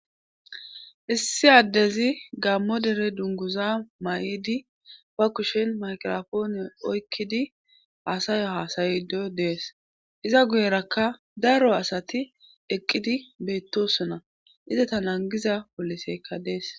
issi addezi gammo dere dunguza mayidi ba kushen maygrapoone oykkidi aasayo haasayido dees iza guyerakka daro asati eqqidi beettosona izeta nangiza poliseykka dees.